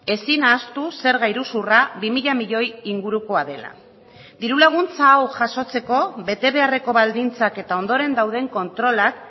ezin ahaztuz zerga iruzurra bi mila milioi ingurukoa dela diru laguntza hau jasotzeko bete beharreko baldintzak eta ondoren dauden kontrolak